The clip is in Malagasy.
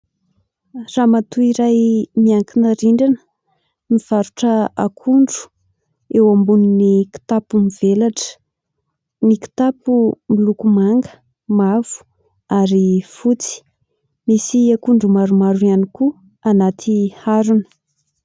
Ramatora iray miankina rindrina, mivarotra akondro eo ambonin'ny kitapo mivelatra, ny kitapo miloko manga, mavo ary fotsy, misy akondro maromaro ihany koa anaty harona.